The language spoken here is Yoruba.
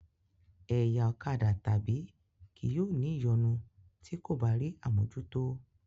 Ẹ̀yà ọ̀kadà tàbí kì yóò ní ìyọnu ti ko bá rí àmójútó.